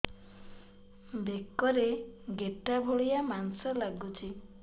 ବେକରେ ଗେଟା ଭଳିଆ ମାଂସ ଲାଗୁଚି